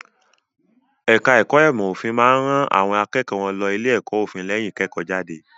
Ẹ̀ka ẹ̀kó ìmọ̀ òfin máa ń ran àwọn akẹ́kọ̀ọ́ wọn lọ ilé-ẹ̀kọ́ òfin lẹ́yìn ìkẹ́kọ̀ọ́jáde.